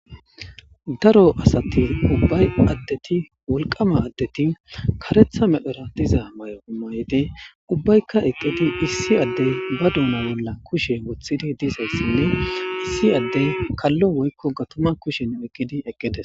daro asati ubbay addeti wulqama addeti karetha medphera diza may7o umayde ubbaykka eqqidi issi addey ba duuma bolla kushe wothidi dizayssinne issi addey kallo woykko gatuma kushen eqqidi eqqides